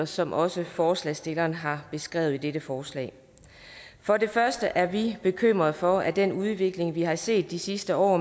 som også forslagsstillerne har beskrevet i dette forslag for det første er vi bekymrede for at fagligheden i den udvikling vi har set de sidste år